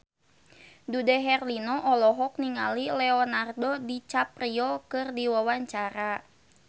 Dude Herlino olohok ningali Leonardo DiCaprio keur diwawancara